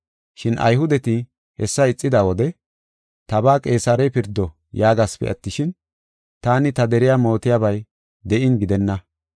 Shin Ayhudeti hessa ixida wode, ‘Tabaa Qeesarey pirdo’ yaagasipe attishin, taani ta deriya mootiyabay de7in gidenna.